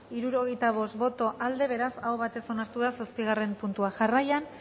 hirurogeita bost boto aldekoa beraz aho batez onartu da zortzigarren puntua jarraian